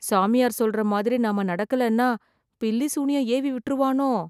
சாமியார் சொல்ற மாதிரி நாம நடக்கலன்னா, பில்லி சூனியம் ஏவிவிட்ருவானோ..